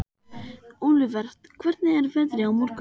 Olivert, hvernig er veðrið á morgun?